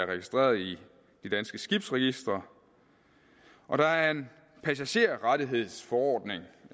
registreret i det danske skibsregister og der er en passagererrettighedsforordning